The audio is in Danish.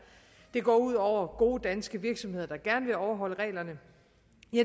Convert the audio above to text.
det går ud over gode danske virksomheder der gerne vil overholde reglerne